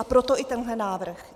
A proto i tenhle návrh.